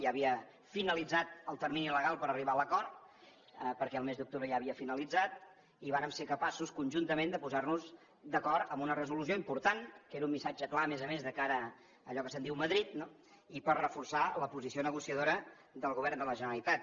ja havia finalitzat el termini legal per arribar a l’acord perquè al mes d’octubre ja havia finalitzat i vàrem ser capaços conjuntament de posar nos d’acord en una resolució important que era un missatge clar a més a més de cara a allò que se’n diu madrid i per reforçar la posició negociadora del govern de la generalitat